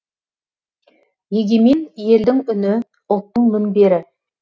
егемен елдің үні ұлттың мінбері